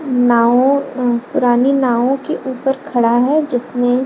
नाव अ रानी नाव के ऊपर खड़ा है जिसमे --